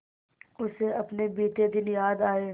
उसे अपने बीते दिन याद आए